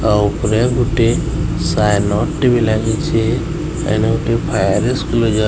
ଆଉ ଉପରେ ଗୋଟିଏ ସାଏନଡ଼୍ ଟେ ବି ଲାଗିଚେ। ଆ ଏନ ଗୋଟିଏ ଫାୟାର୍ ଏସ୍କୁଲୁଜର୍ --